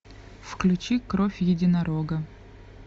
включи кровь единорога